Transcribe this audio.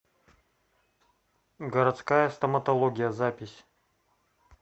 городская стоматология запись